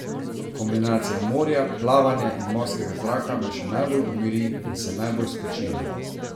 Kombinacija morja, plavanja in morskega zraka me še najbolj umiri in se najbolj spočijem.